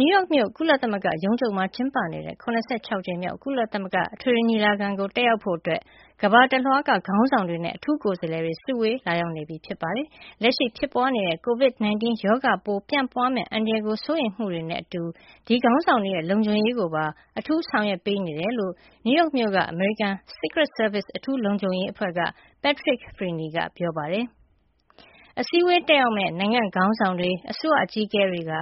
နယူးယောက်မြို့ ကုလသမဂ္ဂရုံးချုပ်မှာ ကျင်းပနေတဲ့ ၇၆ ကြိမ်မြောက် ကုလသမဂ္ဂ အထွေထွေညီလာခံကို တက်ရောက်ဖို့ ကမ္ဘာတလွှားက ခေါင်းဆောင်တွေနဲ့ အထူးကိုယ်စားလှယ်တွေ စုဝေးလာရောက်နေပြီ ဖြစ်ပါတယ်။ လက်ရှိဖြစ်ပွါးနေတဲ့ COVID-19 ရောဂါပိုး ပြန့်ပွါးမယ့်အန္တရာယ်ကို စိုးရိမ်မှုတွေနဲ့အတူ ဒီခေါင်းဆောင်တွေရဲ့ လုံခြုံရေးကိုပါ အထူးဆောင်ရွက်ပေးနေတယ်လို့ နယူးယောက်မြို့က အမေရိကန် Secret Service အထူးလုံခြုံရေးအဖွဲ့က Patrick Freaney က ပြောပါတယ်။ “အစည်းအဝေးတက်ရောက်မယ့် နိုင်ငံ့ခေါင်းဆောင်တွေ၊ အစိုးရအကြီးအကဲတွေက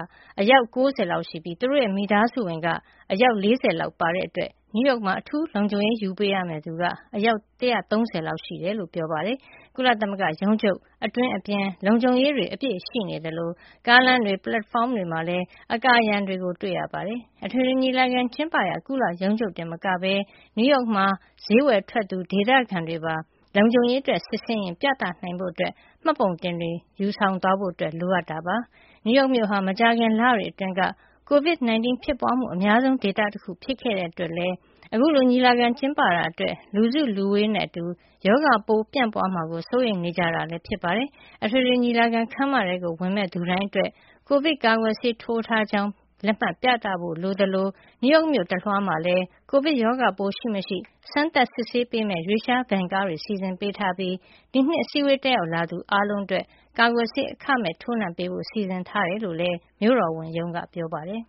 အယောက် ၉၀ လောက်ရှိပြီး သူတို့ရဲ့မိသားစုဝင်က အယောက် ၄၀ လောက် ပါတဲ့အတွက် နယူးယောက်မှာ အထူးလုံခြုံရေးယူပေးရမယ့်သူက အယောက် ၁၃၀ လောက်ရှိပါတယ်။” လို့ ပြောသွားတာပါ။ ကုလသမဂ္ဂရုံးချုပ် အတွင်းအပြင် လုံခြုံရေးတွေ အပြည့်ရှိနေသလို ကားလမ်းတွေ ပလက်ဖောင်းတွေမှာလည်း အကာအရံတွေ တွေ့နေရပါတယ်။ အထွေထွေညီလာခံ ကျင်းပရာ ကုလရုံးချုပ်တင်မကဘဲ နယူးယောက်မှာ ဈေးဝယ်ထွက်သူ ဒေသခံတွေပါ လုံခြုံရေးအတွက် စစ်ဆေးရင် ပြသနိုင်ဖို့ မှတ်ပုံတင်တွေ ယူဆောင်သွားဖို့ လိုအပ်တာပါ။ နယူးယောက်မြို့ဟာ မကြာခင်လတွေအတွင်းက COVID-19 ဖြစ်ပွါးမှု အများဆုံးဒေသတခု ဖြစ်ခဲ့တဲ့အတွက်လည်း အခုလို ညီလာခံကျင်းပတာအတွက် လူစုလူဝေးနဲ့အတူ ရောဂါပိုး ပြန့်ပွါးမှာကိုပါ စိုးရိမ်နေကြတာလည်း ဖြစ်ပါတယ်။ အထွေထွေညီလာခံ ခန်းမထဲကို ဝင်မယ့်သူတိုင်းအတွက် ကိုဗစ်ကာကွယ်ဆေး ထိုးထားကြောင်း လက်မှတ်ပြသဖို့ လိုအပ်တယ်လို့ နယူးယောက် တာဝန်ရှိသူတွေက ပြောပါတယ်။ နယူးယောက်မြို့တလွှားမှာလည်း ကိုဗစ်ရောဂါပိုး ရှိမရှိ စမ်းသပ်စစ်ဆေးပေးမယ့် ရွေ့လျား Van ကားတွေ စီစဉ်ပေးထားပြီး ဒီနှစ် အစည်းအဝေး တက်ရောက်လာသူ အားလုံးအတွက် ကာကွယ်ဆေး အခမဲ့ထိုးနှံပေးဖို့ စီစဉ်ထားကြောင်းလည်း မြို့တော်ဝန်ရုံးက ပြောပါတယ်။